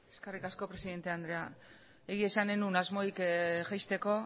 eskerrik asko presidenta andrea egia esan ez nuen asmorik jaisteko